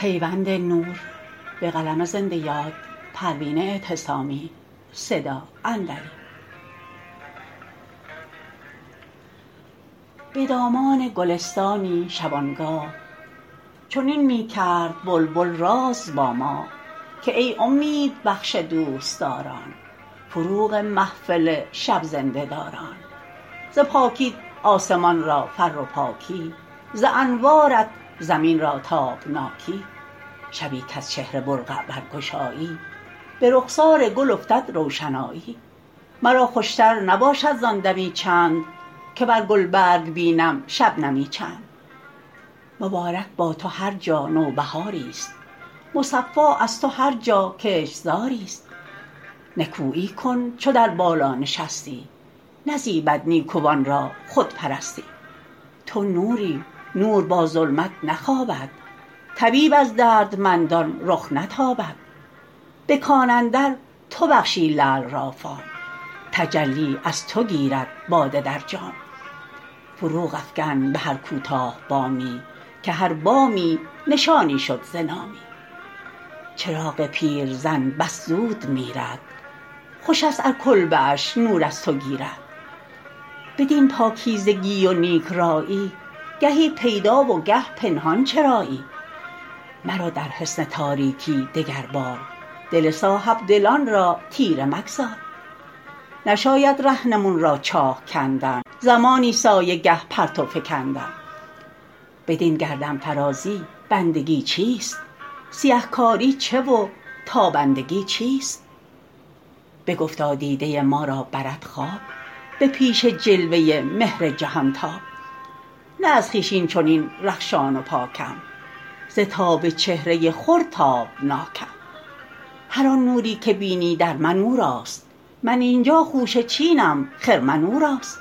بدامان گلستانی شبانگاه چنین میکرد بلبل راز با ماه که ای امید بخش دوستداران فروغ محفل شب زنده داران ز پاکیت آسمان را فر و پاکی ز انوارت زمین را تابناکی شبی کز چهره برقع برگشایی برخسار گل افتد روشنایی مرا خوشتر نباشد زان دمی چند که بر گلبرگ بینم شبنمی چند مبارک با تو هر جا نوبهاریست مصفا از تو هر جا کشتزاری است نکویی کن چو در بالا نشستی نزیبد نیکوان را خودپرستی تو نوری نور با ظلمت نخوابد طبیب از دردمندان رخ نتابد بکان اندر تو بخشی لعل را فام تجلی از تو گیرد باده در جام فروغ افکن بهر کوتاه بامی که هر بامی نشانی شد ز نامی چراغ پیرزن بس زود میرد خوشست ار کلبه اش نور از تو گیرد بدین پاکیزگی و نیک رایی گهی پیدا و گه پنهان چرایی مرو در حصن تاریکی دگر بار دل صاحبدلان را تیره مگذار نشاید رهنمون را چاه کندن زمانی سایه گه پرتو فکندن بدین گردنفرازی بندگی چیست سیه کاری چه و تابندگی چیست بگفتا دیده ما را برد خواب به پیش جلوه مهر جهانتاب نه از خویش اینچنین رخشان و پاکم ز تاب چهره خور تابناکم هر آن نوری که بینی در من اوراست من اینجا خوشه چینم خرمن اوراست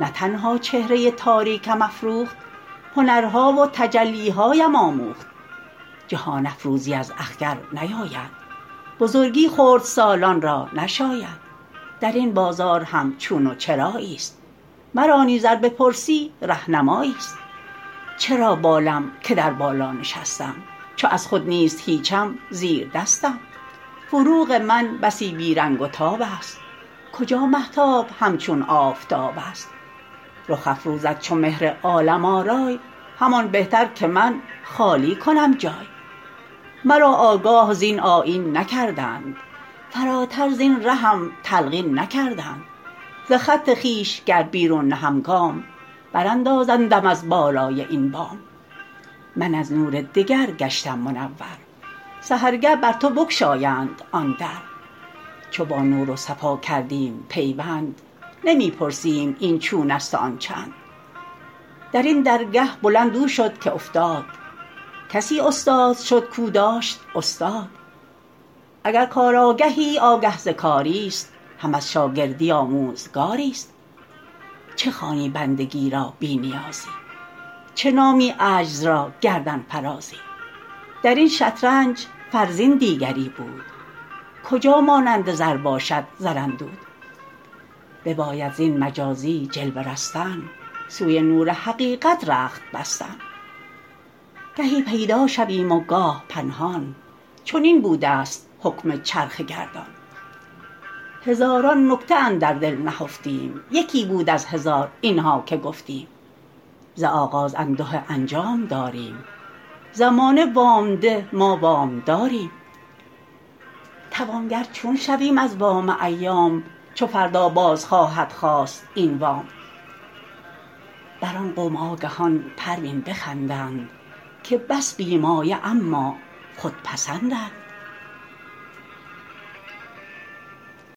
نه تنها چهره تاریکم افروخت هنرها و تجلیهایم آموخت جهان افروزی از اخگر نیاید بزرگی خردسالان را نشاید درین بازار هم چون و چراییست مرا نیز ار بپرسی رهنمایی است چرا بالم که در بالا نشستم چو از خود نیست هیچم زیردستم فروغ من بسی بیرنگ و تابست کجا مهتاب همچون آفتابست رخ افروزد چو مهر عالم آرای همان بهتر که من خالی کنم جای مرا آگاه زین آیین نکردند فراتر زین رهم تلقین نکردند ز خط خویش گر بیرون نهم گام براندازندم از بالای این بام من از نور دگر گشتم منور سحرگه بر تو بگشایند آن در چو با نور و صفا کردیم پیوند نمی پرسیم این چونست و آن چند درین درگه بلند او شد که افتاد کسی استاد شد کاو داشت استاد اگر کار آگهی آگه ز کاریست هم از شاگردی آموزگاریست چه خوانی بندگی را بی نیازی چه نامی عجز را گردنفرازی درین شطرنج فرزین دیگری بود کجا مانند زر باشد زراندود بباید زین مجازی جلوه رستن سوی نور حقیقت رخت بستن گهی پیدا شویم و گاه پنهان چنین بودست حکم چرخ گردان هزاران نکته اندر دل نهفتیم یکی بود از هزار اینها که گفتیم ز آغاز انده انجام داریم زمانه وام ده ما وامداریم توانگر چون شویم از وام ایام چو فردا باز خواهد خواست این وام بر آن قوم آگهان پروین بخندند که بس بی مایه اما خودپسندند